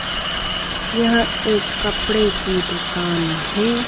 यह एक कपड़े की दुकान है।